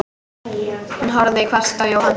Hún horfði hvasst á Jóhann.